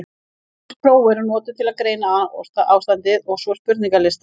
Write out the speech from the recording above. Ýmis próf eru notuð til að greina ástandið, svo og spurningalistar.